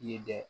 I ye dɛ